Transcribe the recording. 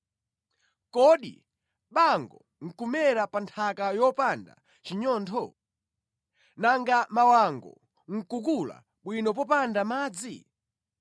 Kodi bango nʼkumera pa nthaka yopanda chinyontho? Nanga mawango nʼkukula bwino popanda madzi?